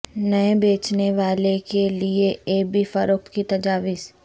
نئے بیچنے والے کے لئے ای بے فروخت کی تجاویز